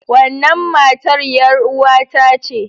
Wannan matar yaruwata ce.